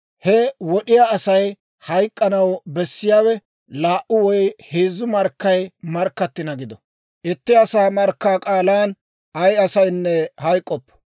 He wod'iyaa Asay hayk'k'anaw bessiyaawe laa"u woy heezzu markkay markkattina gido; itti asaa markkaa k'aalan ay asaynne hayk'k'oppo.